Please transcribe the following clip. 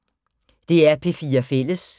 DR P4 Fælles